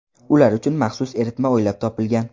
Ular uchun maxsus eritma o‘ylab topilgan.